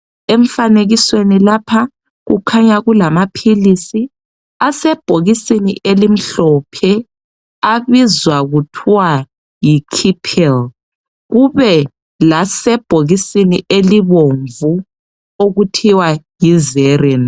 Emfanekisweni lapha kukhanya kulamaphilisi asebhokisini elimhlophe abizwa kuthwa yi Kipel kube lasebhokisini elibomvu okuthiwa yi Xezin .